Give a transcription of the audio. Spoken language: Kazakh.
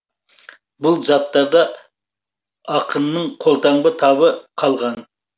бұл заттарда ақынның қолтаңба табы қалған